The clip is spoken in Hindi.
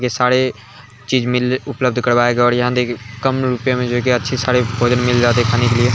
ये सारे चीज मिल उपलब्ध करवाये गए हैं| यहाँ देखिये कम रुपए में देखिये अच्छी सारे भोजन मिल जाते हैं खाने के लिए |